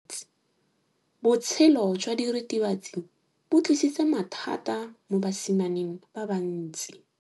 Botshelo jwa diritibatsi ke bo tlisitse mathata mo basimaneng ba bantsi.